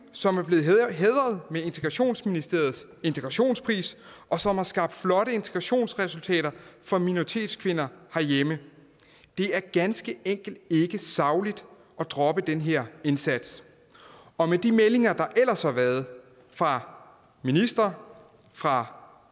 som er blevet hædret med integrationsministeriets integrationspris og som har skabt flotte integrationsresultater for minoritetskvinder herhjemme det er ganske enkelt ikke sagligt at droppe den her indsats og med de meldinger der ellers har været fra ministeren fra